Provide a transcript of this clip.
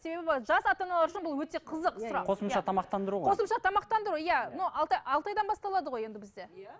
себебі жас ата аналар үшін бұл өте қызық сұрақ қосымша тамақтандыру ғой қосымша тамақтандыру иә но алты айдан басталады ғой енді бізде иә